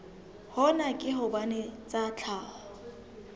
hona ke hobane tsa tlhaho